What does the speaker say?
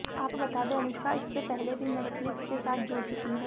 आपको बता दें अनुष्का इससे पहले भी नेटफ्लिक्स के साथ जुड़ चुकी हैं